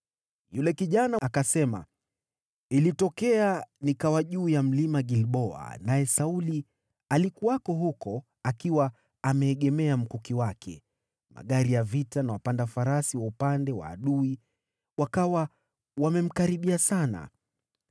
Yule kijana akasema, “Nilijipata huko Mlima Gilboa, naye Sauli alikuwa huko akiegemea mkuki wake, na magari ya vita na wapanda farasi wa upande wa adui wakawa wamemkaribia sana.